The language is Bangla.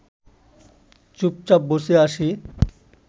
চুপচাপ বসে আছি